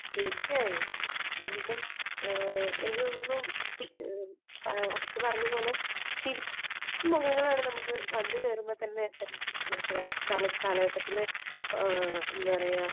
തീർച്ചയായും. കാരണം എനിക്ക് തോന്നുന്നു പി, അക്ഷത പറഞ്ഞതുപോലെ ചിരിക്കുന്ന മുഖങ്ങൾ ആണ് നമുക്ക് വന്നു കയറുമ്പോൾ തന്നെ തിരഞ്ഞെടുപ്പ് കാലഘട്ടത്തില് എന്താ പറയുക